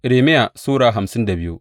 Irmiya Sura hamsin da biyu